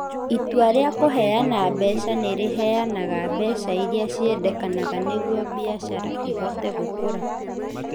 Itua rĩa kũheana mbeca nĩ rĩheanaga mbeca iria ciendekaga nĩguo biacara ĩhote gũkũra.